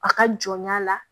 A ka jɔnya la